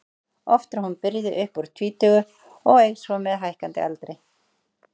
Oft er hún byrjuð upp úr tvítugu og eykst svo með hækkandi aldri.